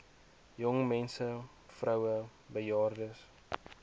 jongmense vroue bejaardes